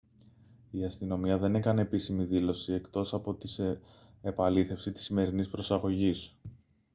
η αστυνομία δεν έκανε επίσημη δήλωση εκτός από την επαλήθευση της σημερινής προσαγωγής